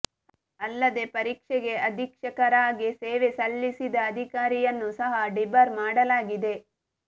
ಅಲ್ಲದೆ ಪರೀಕ್ಷೆಗೆ ಅಧೀಕ್ಷಕರಾಗಿ ಸೇವೆ ಸಲ್ಲಿಸಿದ ಅಧಿಕಾರಿಯನ್ನೂ ಸಹ ಡಿಬಾರ್ ಮಾಡಲಾಗಿದೆ